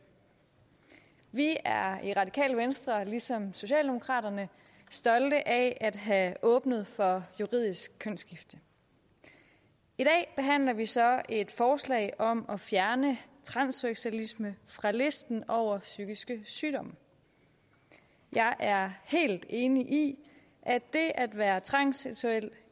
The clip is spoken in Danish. vi er i radikale venstre ligesom socialdemokraterne stolte af at have åbnet for juridisk kønsskifte i dag behandler vi så et forslag om at fjerne transseksualisme fra listen over psykiske sygdomme jeg er helt enig i at det at være transseksuel